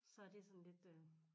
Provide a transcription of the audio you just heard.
Så det sådan lidt øh